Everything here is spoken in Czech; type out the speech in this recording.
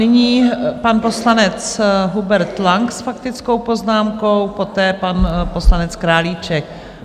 Nyní pan poslanec Hubert Lang s faktickou poznámkou, poté pan poslanec Králíček.